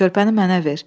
Körpəni mənə ver.